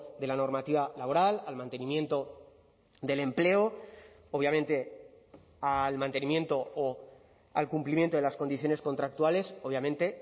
de la normativa laboral al mantenimiento del empleo obviamente al mantenimiento o al cumplimiento de las condiciones contractuales obviamente